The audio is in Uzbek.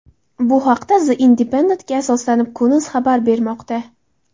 Bu haqda The Independent’ga asoslanib Kun.uz xabar bermoqda .